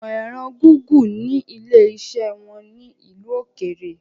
Ìmọ ẹ̀rọ Gúgù ni ilé iṣẹ́ wọn ní ìlú òkèèrè